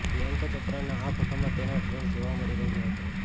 પ્રિયંકા ચોપરાના આ ફોટામાં તેનો ડ્રેસ જોવા મળી રહ્યો છે